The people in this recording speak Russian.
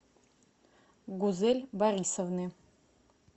гузель борисовны